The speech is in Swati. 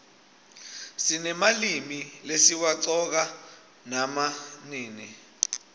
sinemalimi lesiwaqcoka nama nini